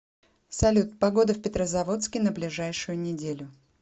салют погода в петрозаводске на ближайшую неделю